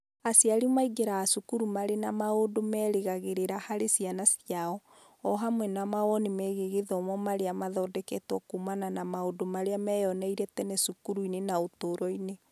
Aciari aingĩraga cukuru marĩ na maũndũ merĩgagĩrĩra harĩ ciana ciao, o hamwe na mawoni megiĩ gĩthomo marĩa mathondeketwo kuumana na maũndũ marĩa meyoneire tene cukuru-inĩ na ũtũũro-inĩ.